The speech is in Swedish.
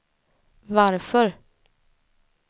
varför